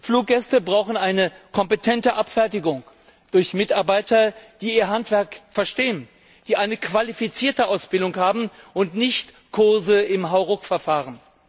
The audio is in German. Fluggäste brauchen eine kompetente Abfertigung durch Mitarbeiter, die ihr Handwerk verstehen, die eine qualifizierte Ausbildung haben und nicht Kurse im Hauruck Verfahren.